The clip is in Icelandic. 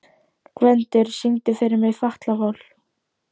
Gvendur, syngdu fyrir mig „Fatlafól“.